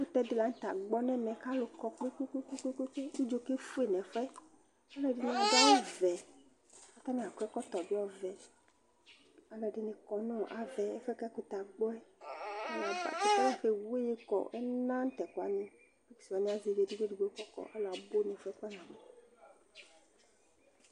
Ɛkʊtɛ dɩ lagbɔ nʊ ɛmɛ kʊ alʊ kɔ kpekpekpekpe kʊ ʊdzo kefoe nʊ ɛfʊɛ Ɔlɔdɩnɩ dʊ awʊveɛ kʊ atanɩ akɔ ɛkɔtɔvɛ bɩ ɔvɛ Alɔdinɩ kɔ nʊ avɛ ɛfoɛ kʊ ɛkʊtɛ agbɔɛ, ɛkʊtɛ weye kɔ, ɛna nʊ tɛkʊwanɩ, brikwanɩ azevi edigbo edigbo kʊ alʊ abʊ nʊ ɛfoɛ kpanabɔɛ